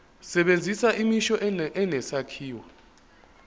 sebenzisa imisho enesakhiwo